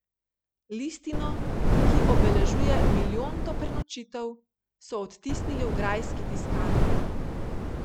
Listino, ki obeležuje milijonto prenočitev, so odtisnili v Grajski tiskarni.